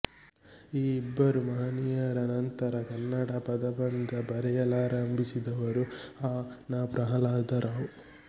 ಈ ಇಬ್ಬರು ಮಹನೀಯರ ನಂತರ ಕನ್ನಡ ಪದಬಂಧ ಬರೆಯಲಾರಂಭಿಸಿದವರು ಅ ನಾ ಪ್ರಹ್ಲಾದರಾವ್